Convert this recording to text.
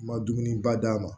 Ma dumuniba d'a ma